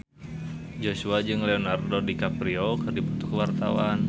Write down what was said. Joshua jeung Leonardo DiCaprio keur dipoto ku wartawan